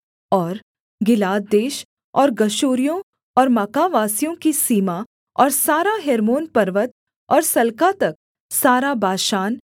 और गिलाद देश और गशूरियों और माकावासियों की सीमा और सारा हेर्मोन पर्वत और सल्का तक सारा बाशान